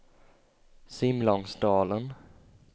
Simlångsdalen